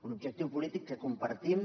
un objectiu polític que compartim